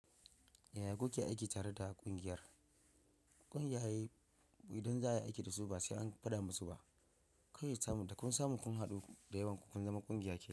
Yaya kuke aiki tare da ƙungiyar? Ƙungiyoyi idan za a yi aiki da su ba sai an faɗa musu ba. Kai sai ka sami kun haɗu da yawan ku kun zama ƙungiya.